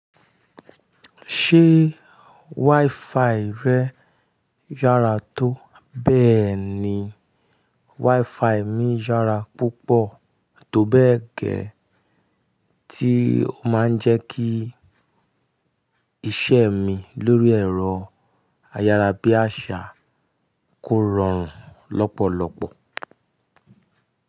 Ṣé WiFi rẹ yára tó? Bẹ́ẹ̀ni, WiFi mi yára púpọ̀ tó bẹ́ẹ̀ gẹ́, tí ó máa ń jẹ́ kí iṣẹ́ mi lórí ẹ̀rọ ayárabíàṣá kó rọrùn lọ́pọ̀lọpọ̀.